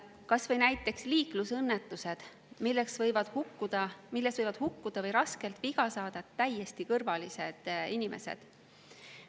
Kas või näiteks liiklusõnnetused, milles võivad hukkuda või raskelt viga saada täiesti kõrvalised inimesed.